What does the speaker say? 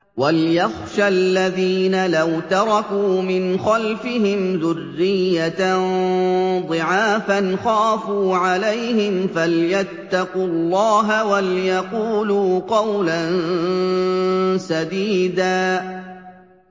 وَلْيَخْشَ الَّذِينَ لَوْ تَرَكُوا مِنْ خَلْفِهِمْ ذُرِّيَّةً ضِعَافًا خَافُوا عَلَيْهِمْ فَلْيَتَّقُوا اللَّهَ وَلْيَقُولُوا قَوْلًا سَدِيدًا